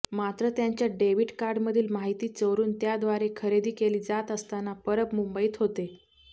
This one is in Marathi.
मात्र त्यांच्या डेबिट कार्डमधील माहिती चोरून त्याद्वारे खरेदी केली जात असताना परब मुंबईत होते